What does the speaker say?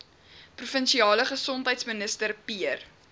provinsiale gesondheidsminister pierre